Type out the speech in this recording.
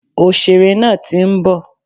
Òsèré nàà ti ń bọ̀